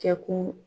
Kɛkun